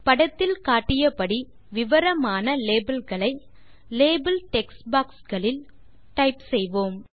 படத்தில் காட்டியபடி விவரமான labelகளை லேபல் டெக்ஸ்ட் பாக்ஸ் களில் டைப் செய்வோம்